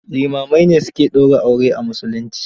Limamai ne su ke daura aure a musulunci.